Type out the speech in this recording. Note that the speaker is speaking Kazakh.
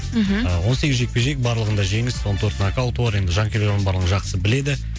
мхм он сегіз жекпе жек барлығында жеңіс он төрт нокауты бар енді жанкүйерлер оның барлығын жақсы біледі